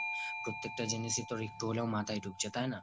প্রত্যেকটা জিনিসই তোর একটু হলেও মাথায় ঢুকছে তাই না?